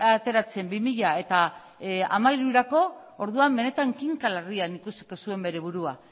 bazuen ateratzen bi mila hamairurako orduan benetan kinka larrian ikusiko zuen bere burua